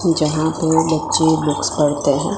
जहां पे बच्चे बुक्स पढ़ते हैं।